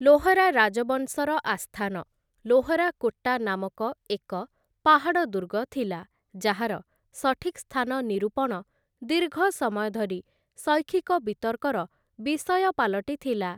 ଲୋହରା ରାଜବଂଶର ଆସ୍ଥାନ ଲୋହରାକୋଟ୍ଟା ନାମକ ଏକ ପାହାଡ଼ ଦୁର୍ଗ ଥିଲା, ଯାହାର ସଠିକ୍ ସ୍ଥାନ ନିରୂପଣ ଦୀର୍ଘ ସମୟ ଧରି ଶୈକ୍ଷିକ ବିତର୍କର ବିଷୟ ପାଲଟିଥିଲା ।